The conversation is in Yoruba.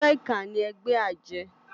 Ègbè iká ni ègbè àjë